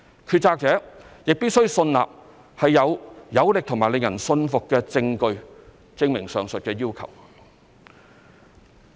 決策者亦必須信納有"有力和令人信服"的證據，證明上述要求。